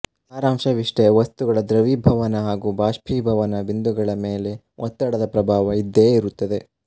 ಸಾರಾಂಶವಿಷ್ಟೇ ವಸ್ತುಗಳ ದ್ರವೀಭವನ ಹಾಗೂ ಬಾಷ್ಪೀಭವನ ಬಿಂದುಗಳ ಮೇಲೆ ಒತ್ತಡದ ಪ್ರಭಾವ ಇದ್ದೇ ಇರುತ್ತದೆ